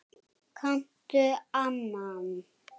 Kanntu annan?